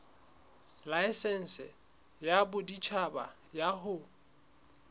laesense ya boditjhaba ya ho